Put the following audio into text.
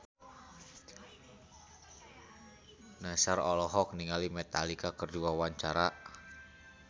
Nassar olohok ningali Metallica keur diwawancara